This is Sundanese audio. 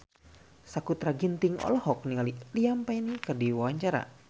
Sakutra Ginting olohok ningali Liam Payne keur diwawancara